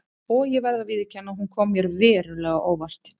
Og ég verð að viðurkenna að hún kom mér verulega á óvart.